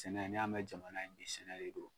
Sɛnɛ n'i y'a mɛ jamana sɛnɛ de don.